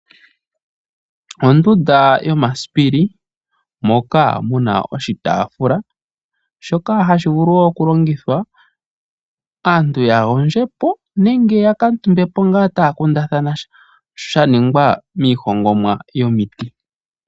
Ondunda yomasipili muna oshitafula shoka hashi vulu okulongithwa uuna aantu taagondjopo nenge ngele taa kundathana sha, oshitafula ohashi kala sha hongwa miiti.